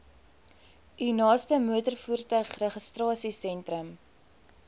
u naaste motorvoertuigregistrasiesentrum